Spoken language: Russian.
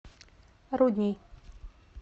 рудней